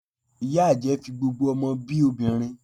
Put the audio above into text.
Ìyá àjẹ́ fi gbogbo ọmọ bi obìnrin